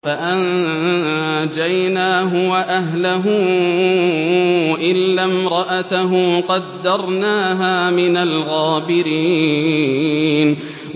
فَأَنجَيْنَاهُ وَأَهْلَهُ إِلَّا امْرَأَتَهُ قَدَّرْنَاهَا مِنَ الْغَابِرِينَ